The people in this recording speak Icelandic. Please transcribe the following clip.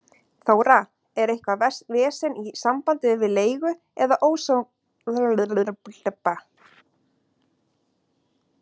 Þóra: Er eitthvað vesen í sambandi við leigu eða ósamkomulag við húseiganda hér?